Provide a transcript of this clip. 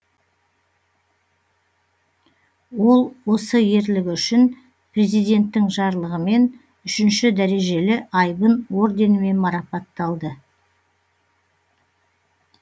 ол осы ерлігі үшін президенттің жарлығымен үшінші дәрежелі айбын орденімен марапатталды